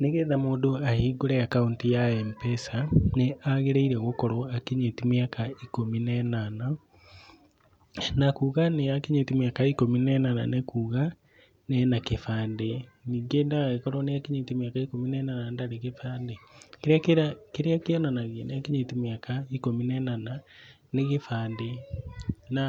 Nĩgetha mũndũ ahingũre akaunti ya Mpesa nĩ agĩrĩire gũkorwo akinyĩtie mĩaka ĩkũmi na ĩnana, na kuga nĩ akinyĩtie mĩaka ĩkũmi na ĩnana nĩ kuga ena gĩbandĩ, ningĩ ndagagĩkorwo nĩ akinyĩtie mĩaka ĩkũmi na ĩnana na ndarĩ gĩbandĩ. Kĩrĩa kĩonanagia nĩ akinyĩtie mĩaka ĩkũmi na ĩnana nĩ gĩbandĩ. Na